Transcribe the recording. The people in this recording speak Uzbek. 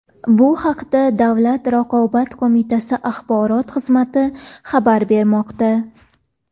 Bu haqda Davlat raqobat qo‘mitasi axborot xizmati xabar bermoqda .